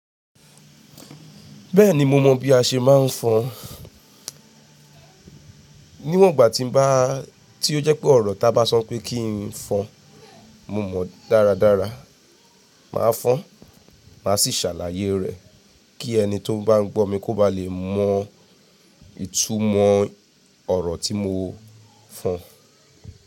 Bẹ́ẹ̀ni mo mọ bí a ṣe máa ń fọn. Níwọ̀n ìgbà tí n bá tí ó jẹ́ pé ọ̀rọ̀ tá bá sọ pé kí n fọn, mo mọ̀-ọ́n dáradára. Màá fọ́n-ọ́n, màá sì ṣàlàyé rẹ̀ kí ẹni tí ó bá ń gbọ́ mi kó ba lè mọ ìtumọ̀ ọ̀rọ̀ tí mo fọn.